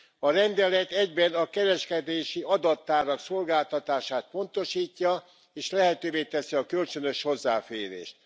A rendelet egyben a kereskedési adattárak szolgáltatását pontosítja, és lehetővé teszi a kölcsönös hozzáférést.